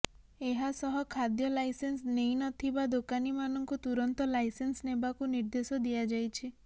ଏହାସହ ଖାଦ୍ୟ ଲାଇସେନ୍ସ ନେଇ ନ ଥିବା ଦୋକାନୀମାନଙ୍କୁ ତୁରନ୍ତ ଲାଇସେନ୍ସ ନେବାକୁ ନିର୍ଦେଶ ଦିଆଯାଇଛି